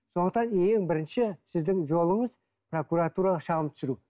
сондықтан ең бірінші сіздің жолыңыз прокуратураға шағым түсіру